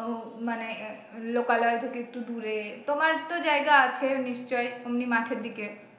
আহ মানে লোকালয় থেকে একটু দূরে তোমার তো জায়গা আছে নিশ্চই ওমনি মাঠের দিকে